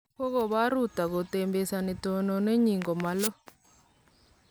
Kokobar Ruto kotembesi tononenyin komaloo.